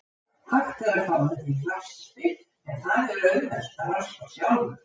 Hægt er að fá þær í raspi, en það er auðvelt að raspa sjálfur.